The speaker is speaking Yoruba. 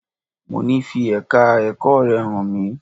Mo ní fi Ẹ̀ka ẹ̀kọ́ rẹ hàn mí!